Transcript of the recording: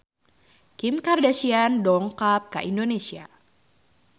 Kim Kardashian dongkap ka Indonesia